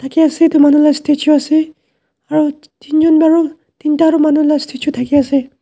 thakiase edu manu la statue ase aru teen jon bi aro teenta aro manu la statue thakiase.